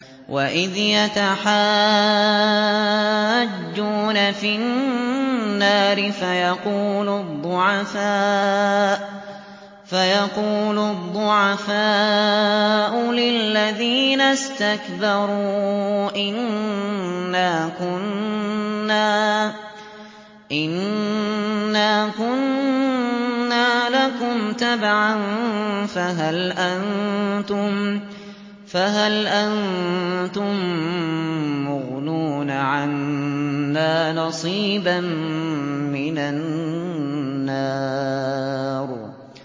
وَإِذْ يَتَحَاجُّونَ فِي النَّارِ فَيَقُولُ الضُّعَفَاءُ لِلَّذِينَ اسْتَكْبَرُوا إِنَّا كُنَّا لَكُمْ تَبَعًا فَهَلْ أَنتُم مُّغْنُونَ عَنَّا نَصِيبًا مِّنَ النَّارِ